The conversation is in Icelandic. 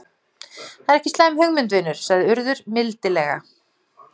Það er ekki slæm hugmynd, vinur- sagði Urður mildilega.